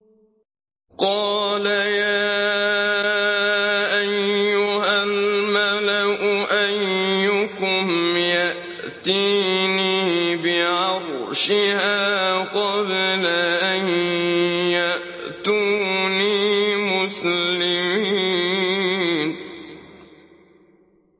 قَالَ يَا أَيُّهَا الْمَلَأُ أَيُّكُمْ يَأْتِينِي بِعَرْشِهَا قَبْلَ أَن يَأْتُونِي مُسْلِمِينَ